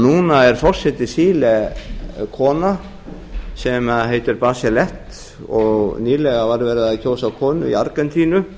núna er forseti chile kona sem heitir barselette og nýlega var verið að kjósa konu í argentínu